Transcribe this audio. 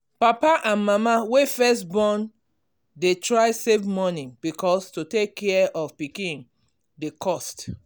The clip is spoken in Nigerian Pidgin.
papa and mama wey first born dey try save money because to take care of pikin dey cost.